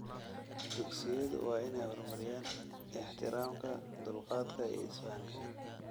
Dugsiyadu waa inay horumariyaan ixtiraamka, dulqaadka, iyo isfahamka.